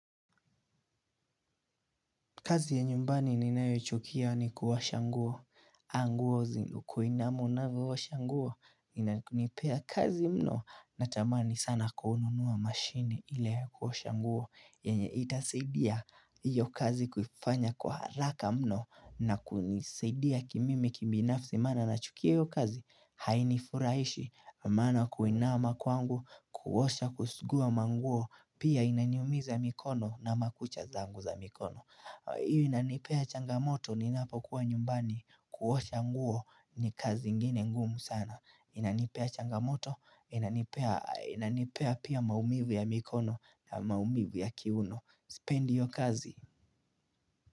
Kazi ya nyumbani ninayo chukia ni kuosha nguo. Nguo zinukuinama unavyoosha nguo. Inanipea kazi mno na tamani sana kuhununua mashini ili kuosha nguo. Yenye itasaidia iyo kazi kufanya kwa haraka mno na kunisidia kimimi kubinafsi maana na chukia iyo kazi. Haini furahishi maana kuinama kwangu, kuosha kusugua manguo. Pia inaniumiza mikono na makucha zangu za mikono. Hiyo inanipea changamoto ni napokuwa nyumbani kuosha nguo ni kazi ingine ngumu sana Inanipea changamoto, inanipea pia maumivu ya mikono na maumivu ya kiuno Sipendi hiyo kazi.